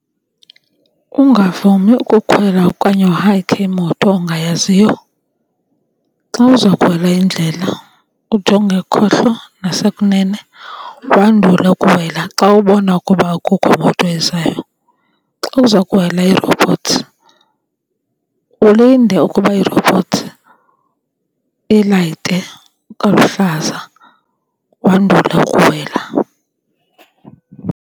Ungavumi ukukhwela okanye uhayikhe imoto ongayaziyo. Xa uza kuwela indlela ujonge ekhohlo nasekunene wandule ukuwela xa ubona ukuba akukho moto ezayo. Xa uza kuwela ii-robots ulinde ukuba ii-robots ilayite kaluhlaza wandule ukuwela.